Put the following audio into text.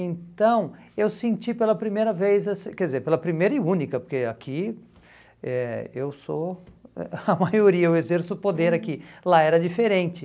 Então, eu senti pela primeira vez, assim, quer dizer, pela primeira e única, porque aqui eh eu sou a a maioria, eu exerço poder aqui, lá era diferente.